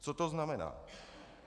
Co to znamená?